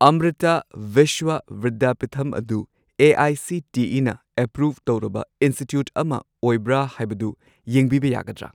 ꯑꯃꯔꯤꯇꯥ ꯚꯤꯁ꯭ꯋ ꯚꯤꯗ꯭ꯌꯥꯄꯤꯊꯝ ꯑꯗꯨ ꯑꯦ.ꯑꯥꯏ.ꯁꯤ.ꯇꯤ.ꯏ.ꯅ ꯑꯦꯄ꯭ꯔꯨꯚ ꯇꯧꯔꯕ ꯏꯟꯁꯇꯤꯇ꯭ꯌꯨꯠ ꯑꯃ ꯑꯣꯏꯕ꯭ꯔꯥ ꯍꯥꯏꯕꯗꯨ ꯌꯦꯡꯕꯤꯕ ꯌꯥꯒꯗ꯭ꯔꯥ?